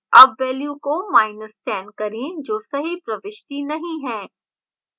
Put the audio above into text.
अब value को10 करें जो सही प्रविष्टि नहीं है